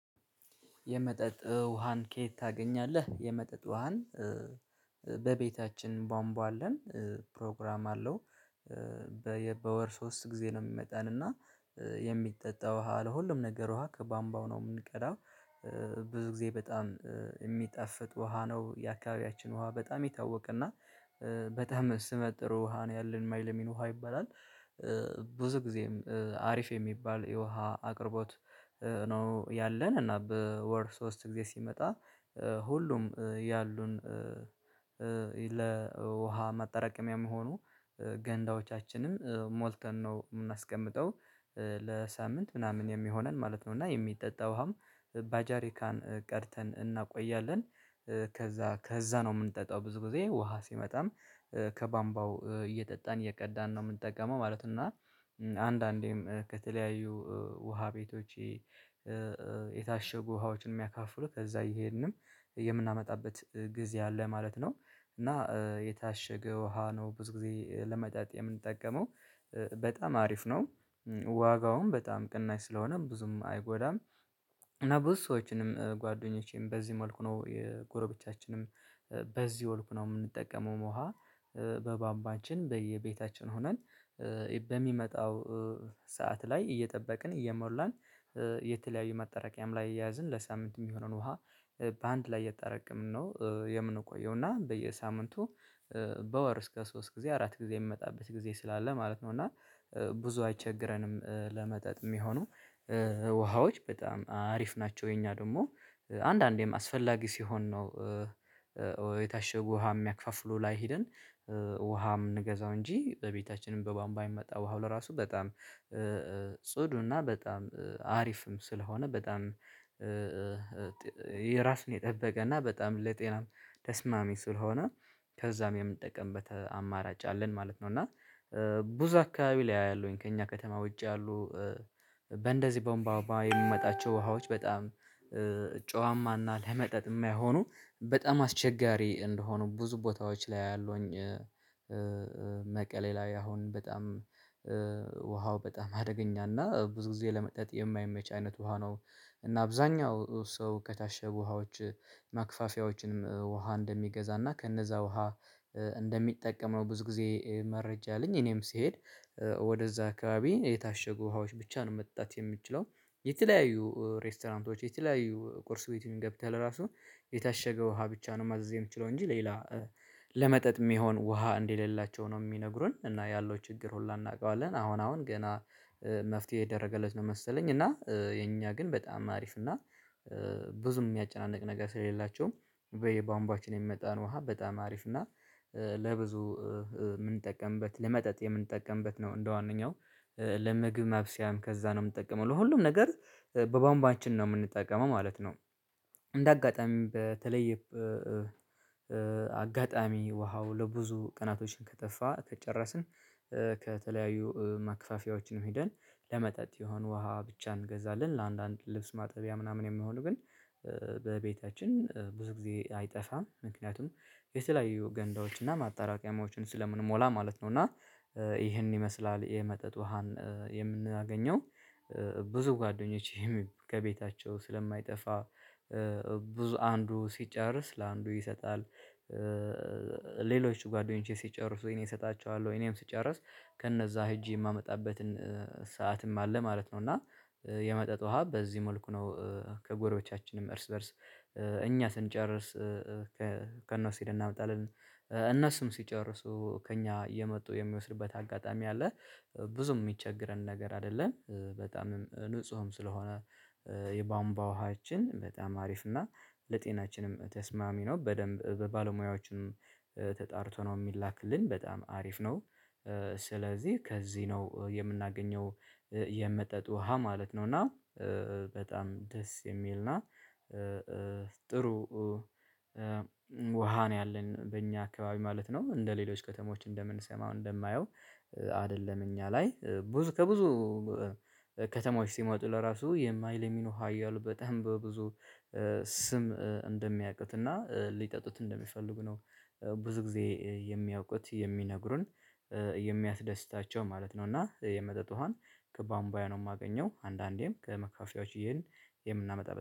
የመጠጥ ውሃን ከየት ታገኛለህ? የመጠጥ ውሃን በቤታችን ቧንቧ አለን ፕሮግራም አለው። በወር ሶስት ጊዜ ነው የሚመጣን እና የሚጠጣ ውሃ ለሁሉም ነገር ውሃ ከቧንቧው ነው የምንቀዳው። ብዙ ጊዜ በጣም የሚጠፍጥ ውሃ ነው የአካባቢያችን ውሃ በጣም ይታወቅና በጣም ስመጥር ውሃ ነው ያለን ማይለሚን ውሃ ይባላል። ጊዜም አሪፍ የሚባል የውሃ አቅርቦት ነው ያለን እና በወር ሶስት ጊዜ ሲመጣ ሁሉም ያሉን ለውሃ ማጠራቀሚያ ምሆኑ ገንዳዎቻችንን ሞልተን ነው የምናስቀምጠው ለሳምንት ምናምን የሚሆነን ማለት ነው። እና የሚጠጣውም ባጃሪካን ቀርተን እናቆያለን። ከዚያ ከዚያ ነው የምንጠጣው ብዙ ጊዜ ውሃ ሲመጣም ከቧንቧው እየጠጣን እየቀዳን ነው የምንጠቀመው ማለት። እና አንዳንዴም ከተለያዩ ውሃ ቤቶች የታሸጉ ውሃዎችን የሚያካፍሉ ከዚያ እየሄድንም የምናመጣበት ጊዜ አለ ማለት ነው። እና የታሸገ ውሃ ነው ብዙ ጊዜ ለመጣጥ የምንጠቀመው በጣም አሪፍ ነው። ዋጋውን በጣም ቅናሽ ስለሆነም ብዙም አይጎዳም። እና ብዙ ሰዎችንም ጓደኞቼም በዚህ መልኩ ነው የጎረቤቶቻችንም በዚህ መልኩ ነው የምንጠቀመው ውሃ። በቧንቧችን በየቤታችን ሆነን በሚመጣው ሰዓት ላይ እየጠበቅን እየሞላን የተለያዩ መጠራቀም ላይ እየያዝን ለሳምንት የሚሆነውን ውሃ በአንድ ላይ እየተጠራቀምን ነው የምንቆየው። እና በየሳምንቱ በወር እስከ ሶስት ጊዜ አራት ጊዜ የሚመጣበት ጊዜ ስላለ ማለት ነው። እና ብዙ አይቸግረንም ለመጠጥ የሚሆኑ ውሃዎች በጣም አሪፍ ናቸው። የኛ ደግሞ አንዳንዴም አስፈላጊ ሲሆን ነው ውሃ የሚያክፋፍሉ ላይ ሄድን ውሃ የምንገዛው እንጂ በቤታችንም በቧንቧ የምመጣ ውሃው ለራሱ በጣም ጽዱና በጣም አሪፍም ስለሆነ በጣም ራሱን የጠበቀና በጣም ለጤናም ተስማሚ ስለሆነ ከዛም የምንጠቀምበት አማራጭ አለን ማለት ነው። እና ብዙ አካባቢ ላይ አያለሁኝ ከእኛ ከተማ ውጪ ያሉ በእንደዚህ በቧንቧ የሚመጣቸው ውሃዎች በጣም ጨዋማና ለመጠጥ የማይሆኑ በጣም አስቸጋሪ እንደሆኑ ብዙ ቦታዎች ላይ አያለሁኝ። መቀሌ ላይ አሁን በጣም ውሃው በጣም አደገኛና ብዙ ጊዜ ለመጠጥ የማይመች አይነት ውሃ ነው። እና አብዛኛው ሰው ከታሸጉ ውሃዎች ማክፋፊያዎችንም ውሃ እንደሚገዛና ከነዚያ ውሃ እንደሚጠቀም ነው። ብዙ ጊዜ መረጃ የለኝ እኔም ስሄድ ወደዚያ አካባቢ የታሸጉ ውሃዎች ብቻ ነው መጣጠት የምችለው። የተለያዩ ሬስቶራንቶች የተለያዩ ቁርስ ቤቱን ገብተህ ለራሱ የታሸገው ውሃ ብቻ ነው ማዘዝ የምትችለው እንጂ ሌላ ለመጠጥ የሚሆን ውሃ እንደሌላቸው ነው የሚነግሩን እና ያለው ችግር ሁላ እናውቀዋለን። አሁን አሁን ገና መፍትሄ እየደረገለት ነው መሰለኝ እና የእኛ ግን በጣም አሪፍ እና ብዙ የሚያጨናንቅ ነገር ስለሌላቸውም በየባንቧችን የሚመጣን ውሃ በጣም አሪፍ እና ለብዙ የምንጠቀምበት ለመጠጥ የምንጠቀምበት ነው። እንደዋነኛው ለምግብ መብሰያም ከዚያ ነው የምንጠቀመው ለሁሉም ነገር በቧንቧችን ነው የምንጠቀመው ማለት ነው። እንደ አጋጣሚ በተለየ አጋጣሚ ውሃው ለብዙ ቀናቶችን ከጠፋ ከጨረስን ከተለያዩ መከፈፊያዎችም ሄደን ለመጠጥ የሆነ ውሃ ብቻ እንገዛለን። ለአንዳንድ ልብስ ማጠቢያ ምናምን የሚሆን ግን በቤታችን ብዙ ጊዜ አይጠፋም ምክንያቱም የተለያዩ ገንዳዎች እና ማጣራቀምያዎችን ስለምንሞላ ማለት ነው። እና ይሄን ይመስላል የመጠጥ ውሃን የምናገኘው ብዙ ጓደኞቼ ከቤታቸው ስለማይጠፋ ብዙ አንዱ ሲጨርስ ለአንዱ ይሰጣል። ሌሎች ጓደኞቼ ሲጨርሱ እኔ እሰጣቸዋለሁ እኔም ስጨርስ ከነዚያ ሄጄ የማመጣበትን ሰዓትም አለ ማለት ነው። እና የመጠጥ ውሃ በዚህ መልኩ ነው ከጎረቤቶቻችንም እርስ በእርስ እኛ ስንጨርስ ከእነሱ ሄደን እናመጣለን እነሱም ሲጨርሱ ከእኛ እየመጡ የሚወስዱበት አጋጣሚ አለ። ብዙም የሚቸገረን ነገር አይደለም በጣምም ንጹህም ስለሆነ የቧንቧ ውሃችን በጣም አሪፍ እና ለጤናችንም ተስማሚ ነው በደንብ በባለሙያዎችም ተጣርቶ ነው የሚላክልን በጣም አሪፍ ነው። ስለዚህ ከዚህ ነው የምናገኘው የመጠጥ ውሃ ማለት ነው እና በጣም ደስ የሚልና ጥሩ ውሃ ነው ያለን በእኛ አካባቢ ማለት ነው። እንደ ሌሎች ከተሞች እንደምንሰማው እንደማየው አይደለም እኛ ላይ ብዙ ከብዙ ከተሞች ሲሟጡ ለራሱ የማይለሚኑ ውሃ እያሉ በጣም በብዙ ስም እንደሚያቁትና ሊጠጡት እንደሚፈልጉ ነው ብዙ ጊዜ የሚያውቁት የሚነግሩን የሚያስደስታቸው ማለት ነው። እና የመጠጥ ውሃን ከቧንቧዬ ነው የማገኘው አንዳንዴም ከመካፍፈያዎች እየሄን የምናመጣበት